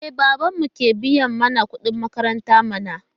E, babanmu ke biya mana kuɗin makaranta mana.